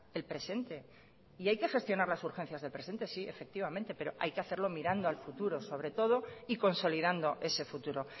el presente y hay que gestionar las urgencias del presente sí efectivamente pero hay que hacerlo mirando al futuro sobre todo y consolidando ese futuro